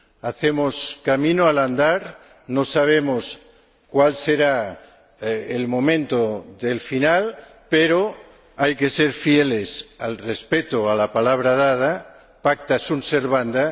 Hacemos camino al andar, no sabemos cuál será el momento del final, pero hay que ser fieles al respeto a la palabra dada pacta sunt servanda